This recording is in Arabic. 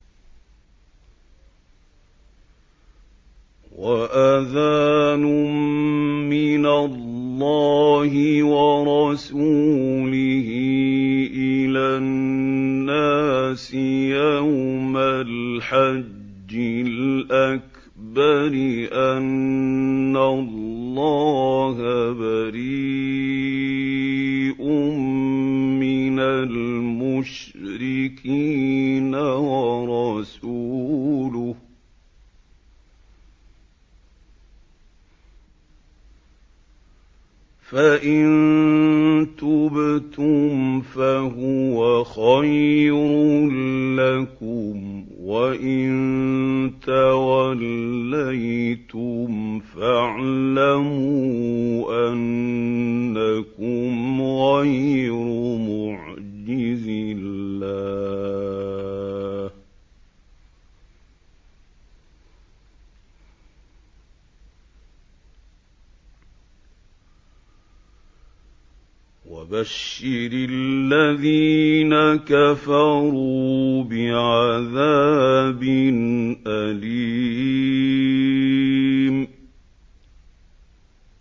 وَأَذَانٌ مِّنَ اللَّهِ وَرَسُولِهِ إِلَى النَّاسِ يَوْمَ الْحَجِّ الْأَكْبَرِ أَنَّ اللَّهَ بَرِيءٌ مِّنَ الْمُشْرِكِينَ ۙ وَرَسُولُهُ ۚ فَإِن تُبْتُمْ فَهُوَ خَيْرٌ لَّكُمْ ۖ وَإِن تَوَلَّيْتُمْ فَاعْلَمُوا أَنَّكُمْ غَيْرُ مُعْجِزِي اللَّهِ ۗ وَبَشِّرِ الَّذِينَ كَفَرُوا بِعَذَابٍ أَلِيمٍ